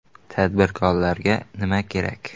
Tadbirkorga nima kerak?